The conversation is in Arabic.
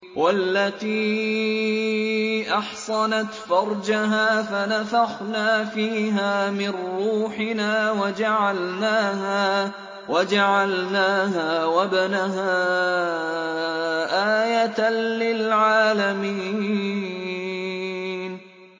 وَالَّتِي أَحْصَنَتْ فَرْجَهَا فَنَفَخْنَا فِيهَا مِن رُّوحِنَا وَجَعَلْنَاهَا وَابْنَهَا آيَةً لِّلْعَالَمِينَ